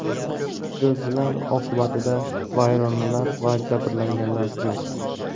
Zilzila oqibatida vayronalar va jabrlanganlar yo‘q.